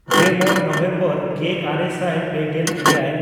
ᱜᱮᱢᱚᱬ November ᱜᱮᱼᱟᱨᱮ ᱥᱟᱭ ᱯᱮᱜᱮᱞ ᱮᱭᱟᱭ